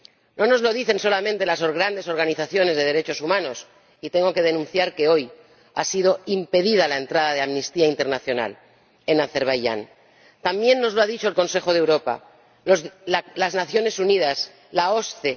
No nos lo dicen solamente las grandes organizaciones de derechos humanos ―y tengo que denunciar que hoy ha sido impedida la entrada de Amnistía Internacional en Azerbaiyán―, también nos lo han dicho el Consejo de Europa, las Naciones Unidas, la OSCE.